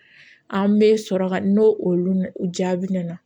An bɛ sɔrɔ ka n'o olu jaabi nana